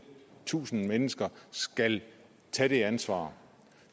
tusind mennesker skal tage det ansvar